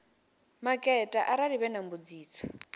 maketa arali vhe na mbudziso